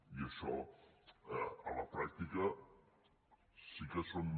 i això a la pràctica sí que són